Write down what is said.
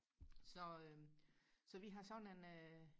så øh så vi har sådan en øh